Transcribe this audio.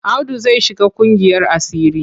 Audu zai shiga ƙungiyar asiri.